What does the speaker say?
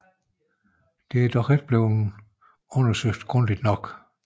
Dette er dog ikke blevet undersøgt grundigt nok